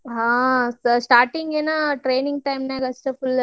ಹಾ starting ಏನೋ training time ನ್ಯಾಗ್ ಅಷ್ಟ